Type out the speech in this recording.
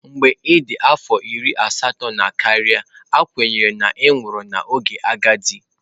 Mgbe ị dị afọ iri asatọ na karịa, a kwenyere na ị nwụrụ n'oge agadi.